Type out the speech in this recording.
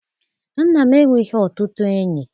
Nna m enweghị ọtụtụ enyi.